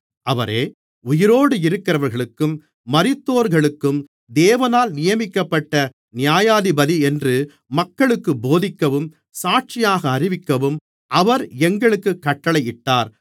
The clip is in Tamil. அவரே உயிரோடிருக்கிறவர்களுக்கும் மரித்தோர்களுக்கும் தேவனால் நியமிக்கப்பட்ட நியாயாதிபதியென்று மக்களுக்குப் போதிக்கவும் சாட்சியாக அறிவிக்கவும் அவர் எங்களுக்குக் கட்டளையிட்டார்